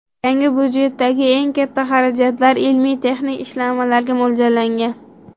Yangi budjetdagi eng katta xarajatlar ilmiy-texnik ishlanmalarga mo‘ljallangan.